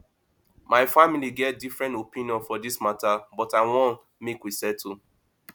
my family get different opinion for dis mata but i wan make we settle